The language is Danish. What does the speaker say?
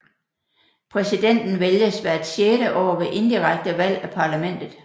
Præsidenten vælges hvert sjette år ved indirekte valg af parlamentet